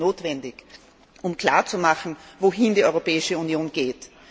Das wäre notwendig, um klarzumachen, wohin die Europäische Union geht.